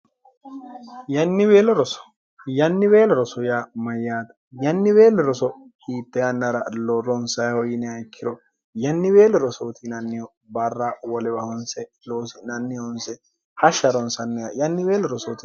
yannibeelo roso yaa mayyaata yannibeelli roso hiitte yannara lo ronsaiho yiniha ikkiro yannibeelo rosootinanniho barra wolewahonse loosi'nannihonse hashsha ronsanniya yanni beelo rosoo